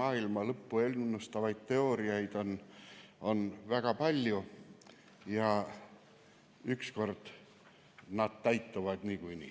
maailma lõppu ennustavaid teooriaid on väga palju ja ükskord nad täituvad niikuinii.